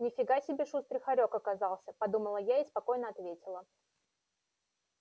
ни фига себе шустрый хорёк оказался подумала я и спокойно ответила